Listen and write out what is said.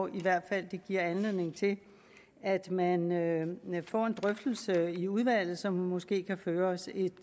i hvert fald giver anledning til at man at man får en drøftelse i udvalget som måske kan føre os et